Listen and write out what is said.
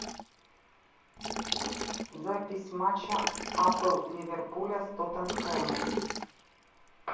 запись матча апл ливерпуля с тоттенхэмом